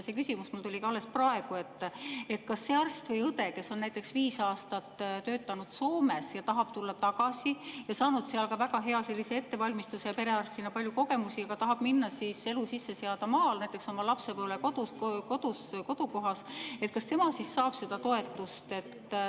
See küsimus mul ka alles praegu: see arst või õde, kes on näiteks viis aastat töötanud Soomes ja tahab tulla tagasi, ta on saanud väga hea ettevalmistuse ja perearstina palju kogemusi, tahab elu sisse seada maal, näiteks oma lapsepõlvekodus, oma kodukohas, kas ta saab seda toetust?